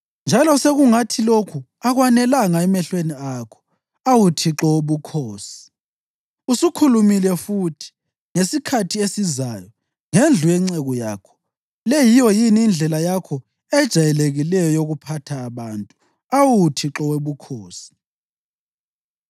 Njalo sekungathi lokhu akwanelanga emehlweni akho, awu Thixo Wobukhosi, usukhulumile futhi ngesikhathi esizayo ngendlu yenceku yakho. Le yiyo yini indlela yakho ejayelekileyo yokuphatha abantu, awu Thixo Wobukhosi?